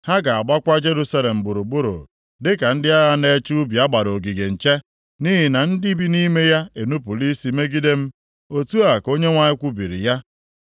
Ha ga-agbakwa Jerusalem gburugburu dịka ndị agha na-eche ubi a gbara ogige nche, nʼihi na ndị bi nʼime ya enupula isi megide m,’ ” Otu a ka Onyenwe anyị kwubiri ya.